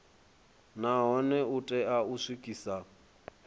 nahone u tea u swikisa